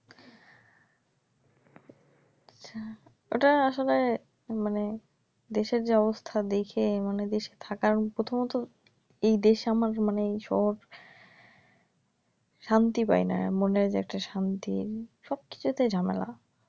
ওটা আসলে মানে দেশের যে অবস্থা দেখি মনে যে থাকার, প্রথমত এই দেশ আমার মানে এইশহর শান্তি পাইনা এ্যা মনে যে একটা শান্তি সব কিছুতে ঝামেলা